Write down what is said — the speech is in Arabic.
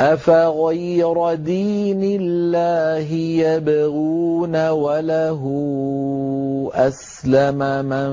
أَفَغَيْرَ دِينِ اللَّهِ يَبْغُونَ وَلَهُ أَسْلَمَ مَن